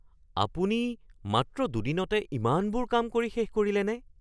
আপুনি মাত্ৰ দুদিনতে ইমানবোৰ কাম কৰি শেষ কৰিলেনে?